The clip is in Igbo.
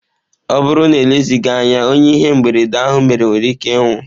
Ọ bụrụ na elezighi anya, onye ihe mberede ahụ mere nwere ike ịnwụ.